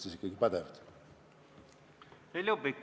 Heljo Pikhof, palun!